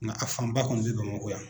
Nka a fanba kɔni bɛ Bamako yan.